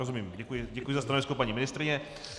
Rozumím, děkuji za stanovisko paní ministryně.